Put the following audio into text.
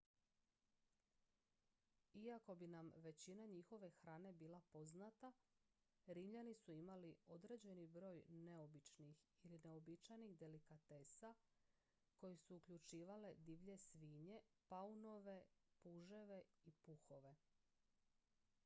iako bi nam većina njihove hrane bila poznata rimljani su imali određeni broj neobičnih ili neuobičajenih delikatesa koje su uključivale divlje svinje paunove puževe i puhove